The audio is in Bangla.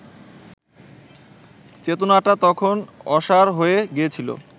চেতনাটা তখন অসাড় হয়ে গিয়েছিল